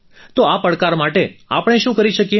તો આ પડકાર માટે આપણે શું કરી શકીએ